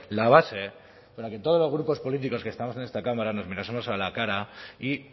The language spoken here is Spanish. la base para que todos los grupos políticos que estamos en esta cámara nos mirásemos a la cara y